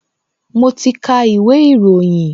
Mo ti ka ìwé ìròyìn